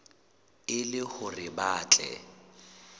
e le hore ba tle